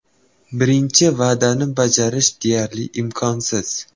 Birinchi va’dani bajarish deyarli imkonsiz.